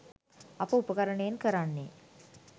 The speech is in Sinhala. අප උපකරණයෙන් කරන්නේ